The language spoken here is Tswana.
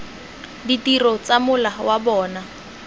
ditiro tsa mola wa bona